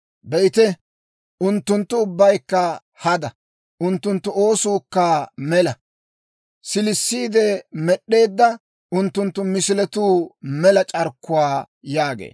Be'ite, unttunttu ubbaykka hada; unttunttu oosuukka mela; siilissiide med'd'eedda unttunttu misiletuu mela c'arkkuwaa» yaagee.